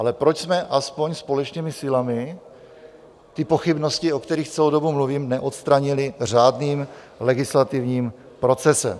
Ale proč jsme aspoň společnými silami ty pochybnosti, o kterých celou dobu mluvím, neodstranili řádným legislativním procesem?